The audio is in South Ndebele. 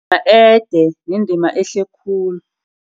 Ede, yindima ehle khulu.